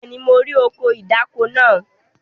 Bẹ́ẹ̀ni, mo rí ọkọ̀ ìdáko náà.